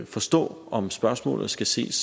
forstå om spørgsmålet skal ses